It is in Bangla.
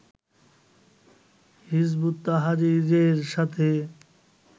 হিযবুত তাহরীরের সাথে